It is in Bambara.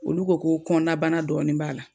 Olu ko k'o kɔnnabana dɔɔni b'a la.